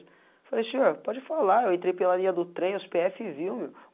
Eu falei, senhor, pode falar, eu entrei pela linha do trem, os pê efe, viu, meu.